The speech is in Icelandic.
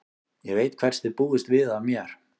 Ég veit hvers þið búist við af mér.